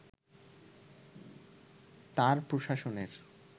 তাঁর প্রশাসনের